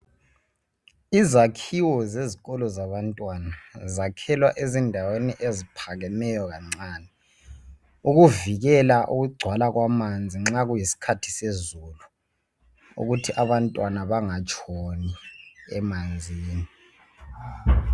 Izakhiwo zezikolo zabantwana zakhelwa endaweni eziphakemeyo kancane ukuvikela ukugcwala kwamanzi nxa kutisikhathi sezulu ukuthi abantwana bengatshoni emanzini.